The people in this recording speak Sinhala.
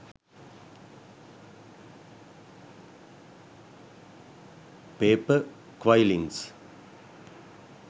paper quillings